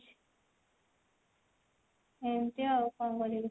ଏମତି ଆଉ କଣ କରିବି।